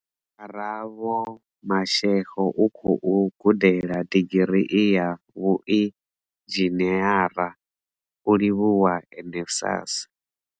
Karabo Mashego u khou gudela digirii ya vhuinzhiniara, u livhuwa NSFAS.